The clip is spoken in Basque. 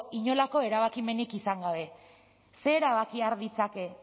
inolako erabakimenik izan gabe zer erabaki har ditzake